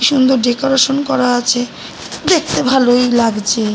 সুন্দর ডেকোরেশন করা আছে দেখতে ভালোই লাগছে--